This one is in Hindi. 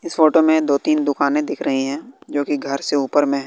इस फोटो में दो तीन दुकानें दिख रही हैं जो कि घर से ऊपर में--